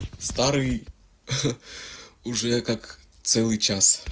старый уже как целый час